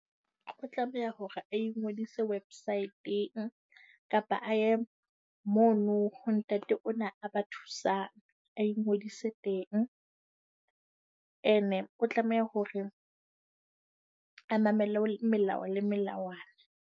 O tlameha hore a ingodise website-eng kapa a ye mono ho ntate ona a ba thusang. A ingodise teng, ene o tlameha hore a mamele melao le melawana.